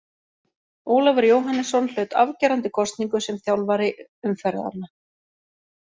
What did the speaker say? Ólafur Jóhannesson hlaut afgerandi kosningu sem þjálfari umferðanna.